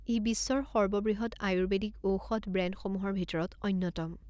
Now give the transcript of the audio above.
ই বিশ্বৰ সৰ্ববৃহৎ আয়ুৰ্বেদিক ঔষধ ব্ৰেণ্ডসমূহৰ ভিতৰত অন্যতম।